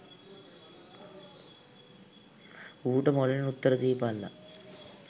ඌට මොළෙන් උත්තර දීපල්ල